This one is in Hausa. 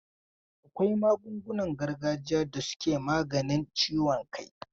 Akwai magungunan gargajiya da suke maganin ciwon kai.